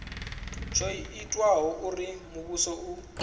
tsho itaho uri muvhuso u